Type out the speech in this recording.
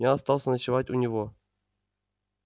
я остался ночевать у него